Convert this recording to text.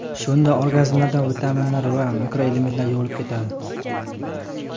Shunda organizmdan vitaminlar va mikroelementlar yuvilib ketadi.